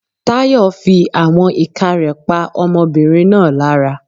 Tayo fí àwọn ìka rẹ̀ pa ọmọbìnrin náà lára.